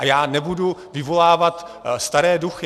A já nebudu vyvolávat staré duchy.